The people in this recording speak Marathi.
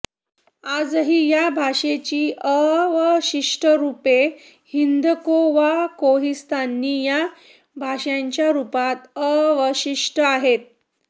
आजही या भाषेची अवशिष्ट रुपे हिंदको वा कोहिस्तानी या भाषांच्या रुपात अवशिष्ट आहेत